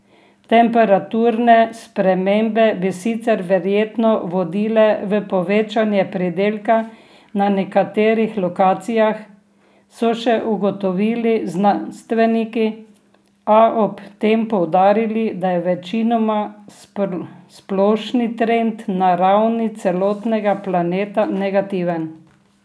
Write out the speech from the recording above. Temperaturne spremembe bi sicer verjetno vodile v povečanje pridelka na nekaterih lokacijah, so še ugotovili znanstveniki, a ob tem poudarili, da je večinoma splošni trend na ravni celotnega planeta negativen.